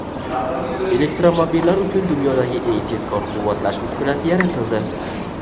Elektromobillar uchun dunyodagi eng tezkor quvvatlash uskunasi yaratildi.